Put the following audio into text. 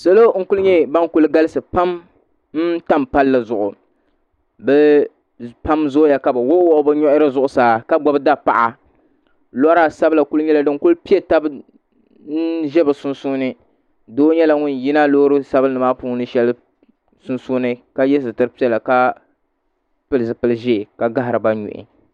Salo n kuli nyɛ bankuli galisi pam n tam palli zuɣu bɛ pam zooya ka bɛ wuɣi wuɣi bɛ nuhi zuɣusaa ka gbibi dapaɣa lora sabla zooya ka di kuli nyɛ din piɛ taba n ʒɛ bɛ sunsuuni doo nyɛla ŋun yina loori sabinli maa puuni sheli sunsuuni ka ye sitiri piɛla ka pili zipil'ʒee ka gahariba nuu.